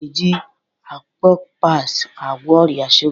A na-eji Akopas agwọ ọrịa shuga